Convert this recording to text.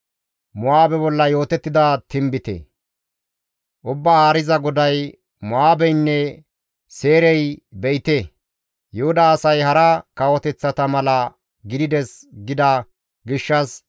«Ubbaa Haariza GODAY, ‹Mo7aabeynne Seyrey: be7ite, Yuhuda asay hara kawoteththata mala gidides gida gishshas,